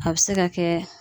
A be se ka kɛ